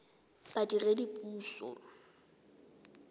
badiredipuso